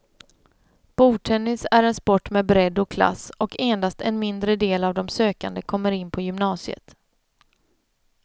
Bordtennis är en sport med bredd och klass, och endast en mindre del av de sökande kommer in på gymnasiet.